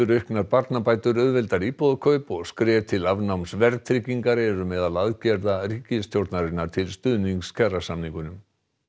auknar barnabætur auðveldari íbúðakaup og skref til afnáms verðtryggingar eru meðal aðgerða ríkisstjórnarinnar til stuðnings kjarasamningum